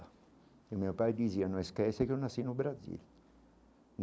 E o meu pai dizia, não esqueça que eu nasci no Brasil.